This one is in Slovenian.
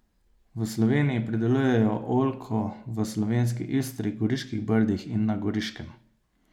V Sloveniji pridelujejo oljko v slovenski Istri, Goriških brdih in na Goriškem.